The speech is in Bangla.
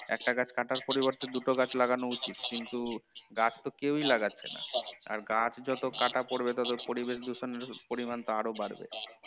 একটা গাছ কাটার পরিবর্তে দুটো গাছ লাগানো উচিত, কিন্তু গাছ তো কেউই লাগাচ্ছে না আর গাছ যত কাটা পড়বে তত পরিবেশ দূষণ এর পরিমাণ তো আরো বাড়বে